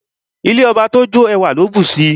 Ilé ọba tó jó, ẹwà ló bùsi.